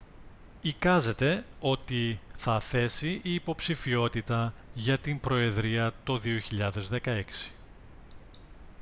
εικάζεται ότι θα θέσει υποψηφιότητα για την προεδρία το 2016